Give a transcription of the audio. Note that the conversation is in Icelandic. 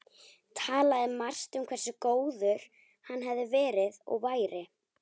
Talaði margt um hversu góður hann hefði verið- og væri